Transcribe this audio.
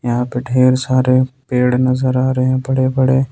यहां पे ढेर सारे पेड़ नजर आ रहे हैं बड़े बड़े।